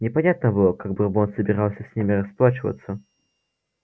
непонятно было как бурбон собирался с ним расплачиваться